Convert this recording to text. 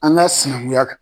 An ka sinankunya kan.